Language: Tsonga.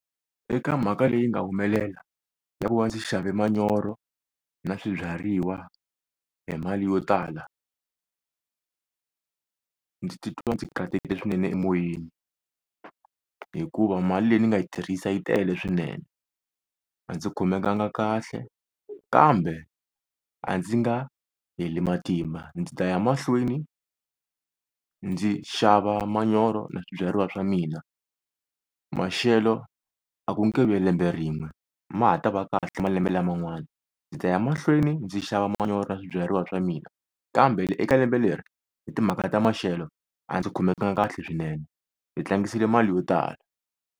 Eka mhaka leyi nga humelela ya ku va ndzi xave manyoro na swibyariwa hi mali yo tala, Ndzi titwa ndzi katekile swinene emoyeni hikuva mali leyi ni nga yi tirhisa yi tele swinene. A ndzi khomekanga kahle kambe a ndzi nga heli matimba, ndzi ta ya mahlweni ndzi xava manyoro na swibyariwa swa mina maxelo a ku nge vi ya lembe rin'we ma ha ta va kahle malembe laman'wana, ndzi ta ya mahlweni ndzi xava manyoro na swibyariwa swa mina. Kambe eka lembe leri hi timhaka ta maxelo a ndzi khomekanga kahle swinene ndzi tlangisile mali yo tala.